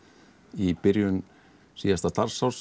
í byrjun síðasta starfsárs